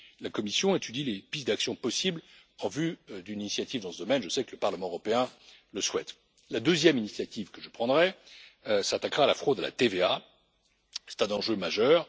La Commission étudie les pistes d'actions possibles en vue d'une initiative dans ce domaine. Je sais que le Parlement européen le souhaite. La deuxième initiative que je prendrai s'attaquera à la fraude à la TVA c'est un enjeu majeur.